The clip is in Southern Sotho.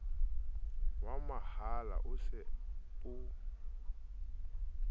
wa mahala o se o